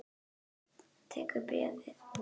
Hann tekur bréfið.